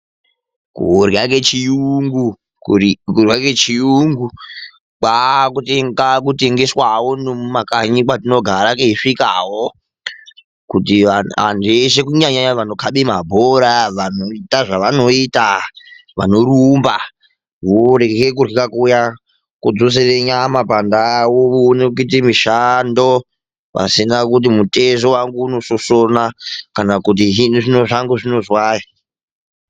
Kurya kechiyungu kwaakutengeswawo nemumakanyi kwatinogara keisvikawo, kuti antu eshe kunyanyanyanya vanokhabe mabhora; vanoita zvevanoita; vanorumba, vorye kurya kuya. Kodzosere nyama pandau, voone kuite mishando pasina kuti mutezo wangu unoshoshona kana kuti zvino zvino zvangu zvinozwai.